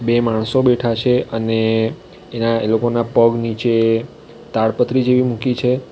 બે માણસો બેઠા છે અને એના એ લોકોના પગ નીચે તાડપત્રી જેવી મૂકી છે.